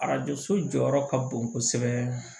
Arajo so jɔyɔrɔ ka bon kosɛbɛ